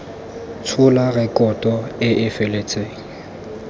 tshola rekoto e e feletseng